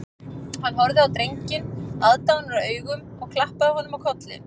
Hann horfði á drenginn aðdáunaraugum og klappaði honum á kollinn